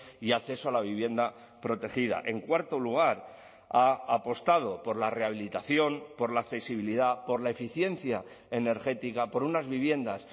y acceso a la vivienda protegida en cuarto lugar ha apostado por la rehabilitación por la accesibilidad por la eficiencia energética por unas viviendas